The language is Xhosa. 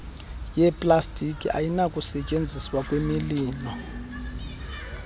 yeplastiki ayinakusetyenziswa kwimililo